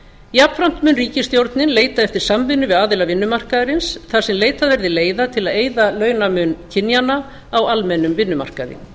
jafnframt mun ríkisstjórnin leita eftir samvinnu við aðila vinnumarkaðarins þar sem leitað yrði leiða til að eyða launamun kynjanna á almennum vinnumarkaði